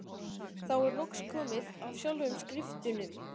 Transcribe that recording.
Þá er loks komið að sjálfum skriftunum.